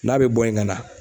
N'a bɛ bɔ yen ka na